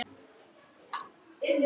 Hún verður stíf í framan.